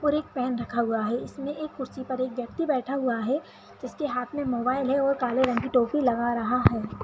और एक पेन रखा हुआ है और इसमे एक कुर्सी पर एक व्यक्ति बैठा हुआ है जिसके हाथ मे एक मोबाईल है और काले रंग की टोपी लगा रहा है।